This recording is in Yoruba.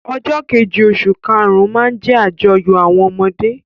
Ọjọ́ kejì oṣù kàrún-ún máa jẹ́ àyájọ́ àwọn ọmọdé.